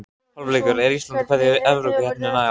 Hálfleikur: Er Ísland að kveðja Evrópukeppnina í ár?